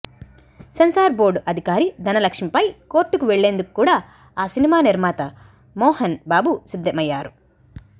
censor board అధికారి ధనలక్ష్మి పై కోర్టుకు వెళ్ళేందుకు కూడా ఆ సినిమా నిర్మాత మోహన్ బాబు సిద్ధమయ్యారు